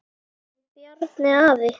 Bjarni afi.